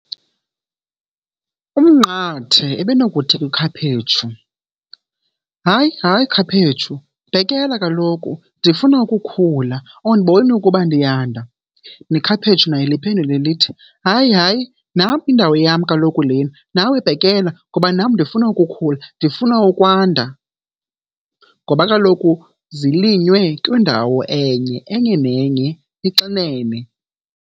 Umnqathe ebenokuthi kwikhaphetshu, hayi, hayi, khaphetshu bhekela kaloku ndifuna ukukhula. Awundiboni ukuba ndiyanda? Nekhaphetshu nalo liphendule lithi, hayi, hayi, nam yindawo yam kaloku lena nawe bhekela ngoba nam ndifuna ukukhula, ndifuna ukwanda. Noba kaloku zilinywe kwindawo enye, enye nenye ixinene.